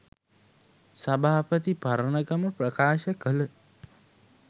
සභාපති පරණගම ප්‍රකාශ කළ